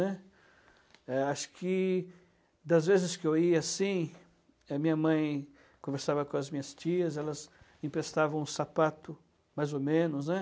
É, acho que, das vezes que eu ia, assim, minha mãe conversava com as minhas tias, elas emprestavam um sapato, mais ou menos, né.